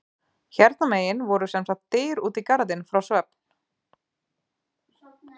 Hérna megin voru sem sagt dyr út í garðinn frá svefn